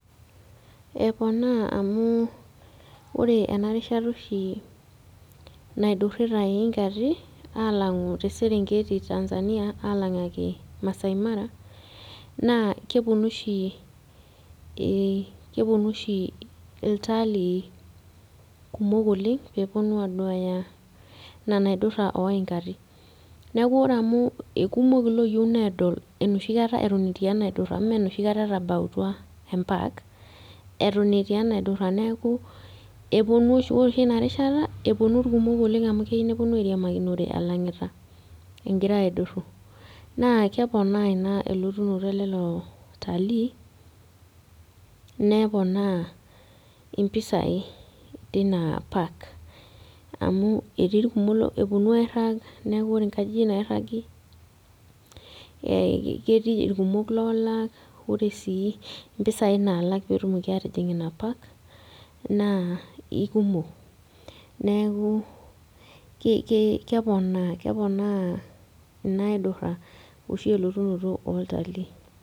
Eponaa amu ore ena rishata oshi naidurrita iyinkati alang'u te serengeti tanzania alang'aki maasai mara naa keponu oshi ii iltalii kumok oleng peponu aduaya ina naidurra oyinkati neku ore amu ikumok iloyieu nedol enoshi kata eton etii enaidurra menoshi kata etabautwa empak eton etii enaidurra neku eponu oshi ore oshi ina rishata eponu irkumok oleng amu keyieu neponu airiamakinore elang'ita engira aidurru naa keponaa ina elotunoto elelo talii neponaa impisai tina park amu etii irkumok eponu airrag neku ore inkajijik nairragi eh ketii irkumok loolak ore sii impisai nalak petumoki atijing ina park naa ikumok neeku kei keponaa, keponaa ina aidurra oshi elotunoto oltalii.